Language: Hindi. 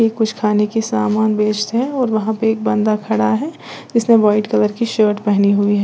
कुछ खाने के समान बेचते हैं और वहां पे एक बंदा खड़ा है जिसने वाइट कलर की शर्ट पहनी हुई है।